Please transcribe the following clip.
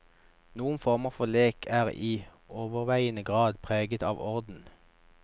Noen former for lek er i overveiende grad preget av orden.